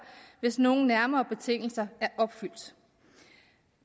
hvis nogle nærmere betingelser er opfyldt